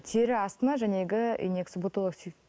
тері астына инекция ботолоксид